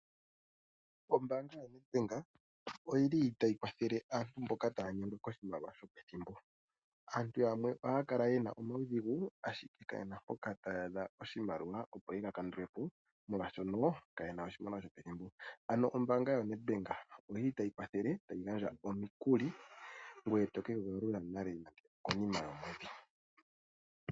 Ombaanga yo NedBank oyili tayi kwathele aantu mboka taya nyengwa koshimaliwa shopethimbo. Aantu yamwe ohaya kala yena omaudhigu ashike kaye na mpoka taya adha oshimaliwa, opo ye ga kandule po molwashoka kaye na oshimaliwa shopethimbo. Ano ombaanga yo NedBank oyi li tayi kwathele tayi gandja omikuli, ngoye to kedhi galula nale nande okonima yomwedhi.